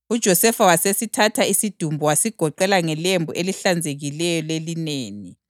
UJosefa wasithatha isidumbu wasigoqela ngelembu elihlanzekileyo lelineni,